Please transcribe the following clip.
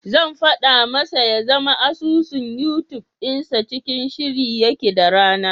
Zan faɗa masa ya zama asusun Yutub dinsa cikin shiri yake da rana.